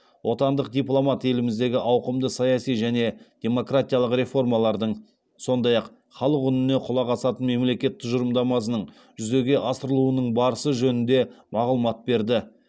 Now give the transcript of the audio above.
отандық дипломат еліміздегі ауқымды саяси және демократиялық реформалардың сондай ақ халық үніне құлақ асатын мемлекет тұжырымдамасының жүзеге асырылуының барысы жөнінде мағлұмат берді